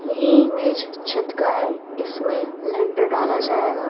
ये इमेज छत का है इसमें लेंडर डाला जाएगा--